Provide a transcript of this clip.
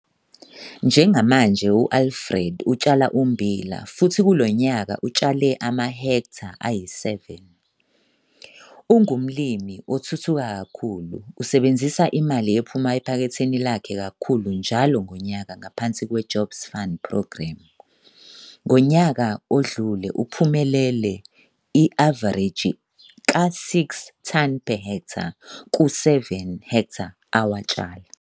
Njengamanje uAlfred utshala ummbila futhi kulo nyaka utshale amahektha ayi-7. Ungumlimi othuthuka kakhulu usebenzisa imali ephuma ephaketheni lakhe kakhulu njalo ngonyaka ngaphansi kwe-Jobs Fund Progremu. Ngonyaka odlule uphumelele i-avareji ka-6 ton per h ku-7 ha awatshala.